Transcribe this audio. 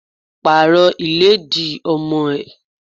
Pàrọ̀ ìlẹ́dì ọmọ ẹ!